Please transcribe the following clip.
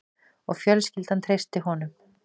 Og fjölskyldan treysti honum